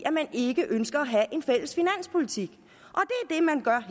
man ikke ønsker at have en fælles finanspolitik